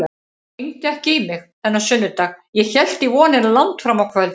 Hann hringdi ekki í mig þennan sunnudag, ég hélt í vonina langt fram á kvöld.